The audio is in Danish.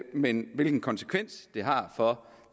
men hvilken konsekvens det har for